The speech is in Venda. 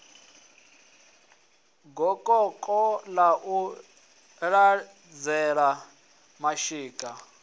gokoko ḽa u laṱela mashika